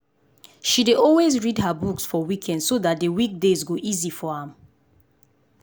she dey always read her books for weekend so dat d weekdays go easy for am